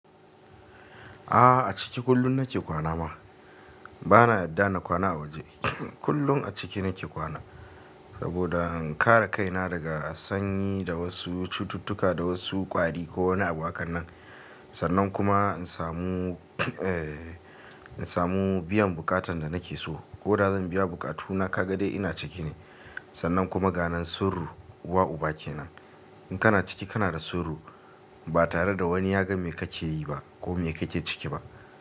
A'a a ciki kullum na ke kwana ma. Ba na yadda na kwana a waje. Kullum a ciki na ke kwana saboda in kare kaina daga sanyi da wasu cututtuka da wasu ƙwari ko wani abu waƙannan. Sannan kuma in samu, eh, in samu biyan buƙatan da na ke so. Ko da zan biya buƙatuna ka ga dai ina ciki ne. Sannan kuma ganen surruwa uba kenan. In kana ciki kana da surru ba tare da wani yagan me ka ke yi ba ko me ka ke ciki ba.